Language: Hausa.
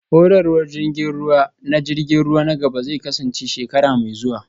Horarwar jirgin ruwa na jirgin ruwa na gaba zai kasance shekara mai zuwa